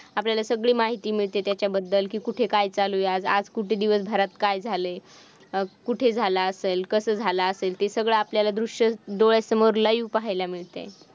आपल्याला सगळी माहिती मिळते त्याच्याबद्दल, की कुठे काय चालू आहे, आज कुठे दिवसभरात काय झालंय, कुठे झालं असेल, कस झालं असेल, ते आपल्याला सर्व दृश्य डोळ्यासमोर live पाहायला मिळतेय.